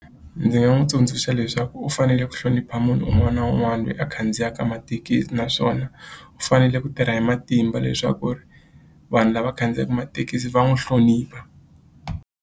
Ndzi nga n'wi tsundzuxa leswaku u fanele ku hlonipha munhu un'wana na un'wana loyi a khandziyaka mathekisi naswona u fanele ku tirha hi matimba leswaku ri vanhu lava khandziyaka mathekisi va n'wi hlonipha.